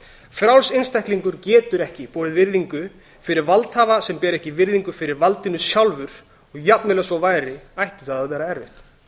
frjáls einstaklingur getur ekki borið virðingu fyrir valdhafa sem ber ekki virðingu fyrir valdinu sjálfur og jafnvel ef svo væri ætti það að vera erfitt